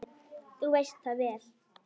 Þú veist það vel.